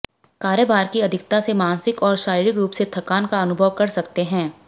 कार्यभार की अधिकता से मानसिक और शारीरिक रूप से थकान का अनुभव कर सकते हैं